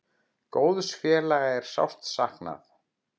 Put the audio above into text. Góðs félaga er sárt saknað.